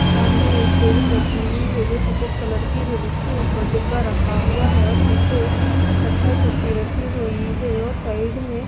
सामने एक टेबुल रखी हुई है जो सफ़ेद कलर की है जिसके ऊपर डिब्बा रखा हुआ है और पीछे एक कत्थई कुर्सी रखी हुई है और साइड में --